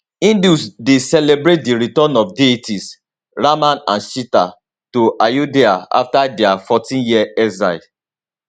hindus dey celebrate di return of deities rama and sita to ayodhya afta dia 14year exile